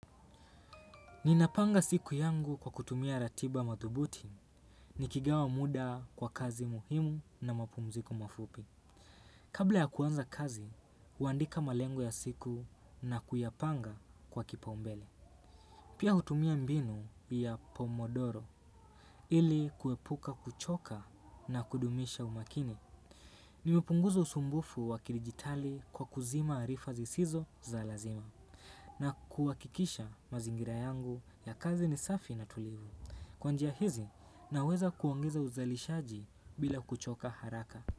Ninapanga siku yangu kwa kutumia ratiba mathubuti, nikigawa muda kwa kazi muhimu na mapumziko mafupi. Kabla ya kuanza kazi, huandika malengo ya siku na kuyapanga kwa kipa umbele. Pia hutumia mbinu ya pomodoro, ili kuepuka kuchoka na kudumisha umakini. Nimepunguza usumbufu wa kidigitali kwa kuzima arifa zisizo za lazima, na kuwakikisha mazingira yangu ya kazi ni safi na tulivu. Kwa njia hizi naweza kuongeza uzalishaji bila kuchoka haraka.